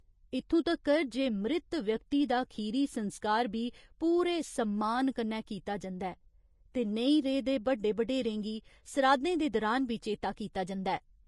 इत्थुं तक्कर जे मृत व्यक्ति दा खीरी संस्कार बी पूरे सम्मान कन्नै कीता जंदा ऐ ते नेईं रेह् दे बड्डे बडेरें गी सराधें दे दौरान बी चेता कीता जंदा ऐ।